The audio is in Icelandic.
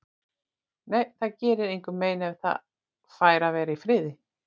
Nei, það gerir engum mein ef það fær að vera í friði.